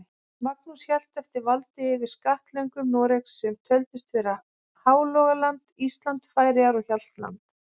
Magnús hélt eftir valdi yfir skattlöndum Noregs, sem töldust vera Hálogaland, Ísland, Færeyjar og Hjaltland.